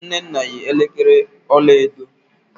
nnenna yi elekere ọla edo.